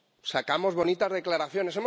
Sacamos bonitas declaraciones.